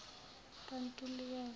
kantulikazi